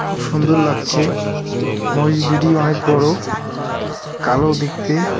খুব সুন্দর লাগছে মহিষ দুটি অনেক বড় কালো দেখতে।